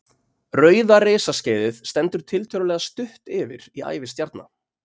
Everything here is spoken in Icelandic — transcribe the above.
Rauða risaskeiðið stendur tiltölulega stutt yfir í ævi stjarna.